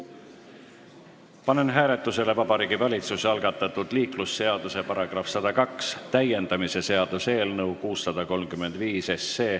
Panen hääletusele Vabariigi Valitsuse algatatud liiklusseaduse § 102 täiendamise seaduse eelnõu 635.